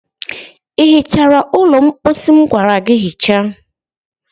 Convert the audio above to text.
Ị hichara ụlọ mposi m gwara gị hichaa?